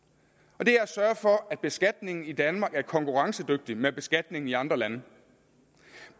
og det er at sørge for at beskatningen i danmark er konkurrencedygtig med beskatningen i andre lande